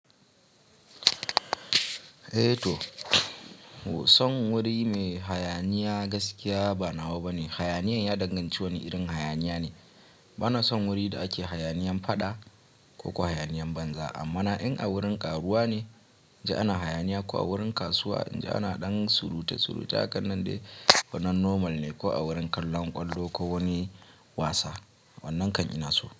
Eh to, son wuri mai hayaniya gaskiya ba nawa bane. Hayaniyan ya danganci wani irin hayaniya ne. Bana son wurin da ake hayaniyan faɗa ko kuwa hayaniyan banza, amma na in a wurin ƙaruwa ne, in ji ana hayaniya ko a wurin kasuwa in ji ana ɗan suruta suruta, hakan nan dai wannan normal ne ko a wurin kallon ƙwallo ko wani wasa, wannan kan ina so.